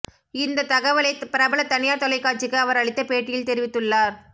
இந்த தகவலை பிரபல தனியார் தொலைகாட்சிக்கு அவர் அளித்த பேட்டியில் தெரிவித்துள்ளார்